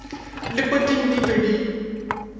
le poting di be di